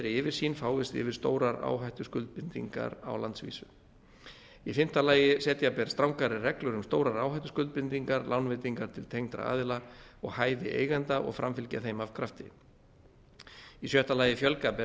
yfirsýn fáist yfir stórar áhættuskuldbindingar á landsvísu fimmta setja ber strangari reglur um stórar áhættuskuldbindingar lánveitingar til tengdra aðila og hæfi eigenda og framfylgja þeim af krafti sjötta fjölga ber